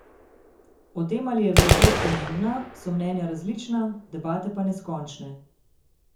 O tem, ali je velikost pomembna, so mnenja različna, debate pa neskončne.